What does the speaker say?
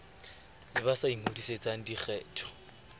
le ba sa ingodisetseng dikgetho